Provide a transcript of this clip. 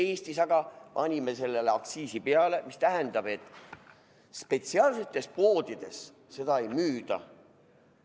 Meie Eestis aga panime sellele aktsiisi peale, mis tähendab, et spetsiaalsetes poodides seda ei müüda.